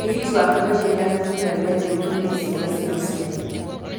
Mũrigiti waku kaingĩ nĩ athuthuragia gĩũtũ kĩa ciega cia ũciari.